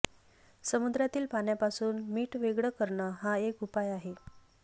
समुद्रातील पाण्यापासून मीठ वेगळं करणं हा एक उपाय आहे